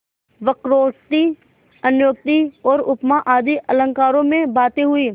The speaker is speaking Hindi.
वक्रोक्ति अन्योक्ति और उपमा आदि अलंकारों में बातें हुईं